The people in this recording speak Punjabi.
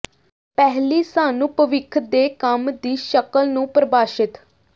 ਪਹਿਲੀ ਸਾਨੂੰ ਭਵਿੱਖ ਦੇ ਕੰਮ ਦੀ ਸ਼ਕਲ ਨੂੰ ਪ੍ਰਭਾਸ਼ਿਤ